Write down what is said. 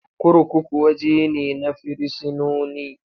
Kurkuku waje ne na firisinoni.